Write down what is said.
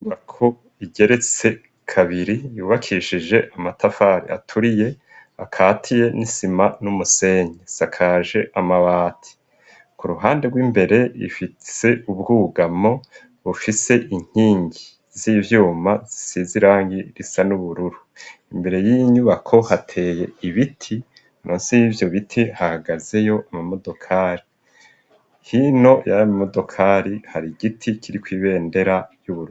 Inyubako igeretse kabiri, yubakishije amatafari aturiye akatiye n'isima, n'umusenyi, isakaje amabati, ku ruhande rw'imbere ifise ubwugamo, bufise inkingi z'ivyuma, zisize irangi risa n'ubururu, imbere y'iyi nyubako hateye ibiti, munsi y'ivyo biti hahagazeyo ama modokari, hino y'amodokari hari igiti kiriko ibendera ry'Uburundi.